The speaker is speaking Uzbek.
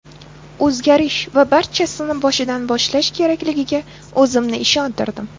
O‘zgarish va barchasini boshidan boshlash kerakligiga o‘zimni ishontirdim”.